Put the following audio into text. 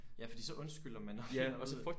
Ja fordi så undskylder man når hun finder ud af